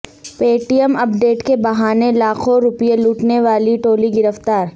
پے T M update کے بہانے لاکھوں روپیے لوٹنے والی ٹولی گرفتار